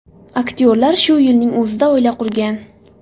Aktyorlar shu yilning o‘zida oila qurgan.